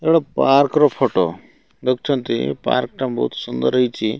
ଏଇଟା ଗୋଟିଏ ପାର୍କର ଫଟ ଦେଖୁଛନ୍ତି ପାର୍କଟା ବହୁତ ସୁନ୍ଦର।